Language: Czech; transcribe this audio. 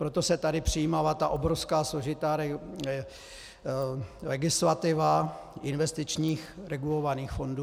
Proto se tady přijímala ta obrovská složitá legislativa investičních regulovaných fondů.